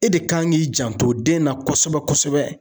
E de kan k'i janto den na kosɛbɛ kosɛbɛ.